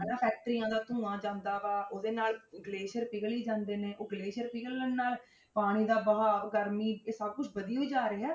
ਹਨਾ factories ਦਾ ਧੂੰਆ ਜਾਂਦਾ ਵਾ ਉਹਦੇ ਨਾਲ ਗਲੇਸ਼ੀਅਰ ਪਿਘਲ ਹੀ ਜਾਂਦੇ ਨੇ, ਉਹ ਗਲੇਸ਼ੀਅਰ ਪਿਘਲਣ ਨਾਲ ਪਾਣੀ ਦਾ ਬਹਾਵ ਗਰਮੀ, ਇਹ ਸਭ ਕੁਛ ਵਧੀ ਹੋਈ ਜਾ ਰਿਹਾ ਹੈ।